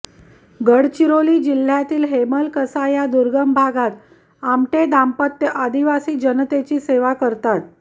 गडचिरोली जिह्यातील हेमलकसा या दुर्गम भागात आमटे दाम्पत्य आदिवासी जनतेची सेवा करतात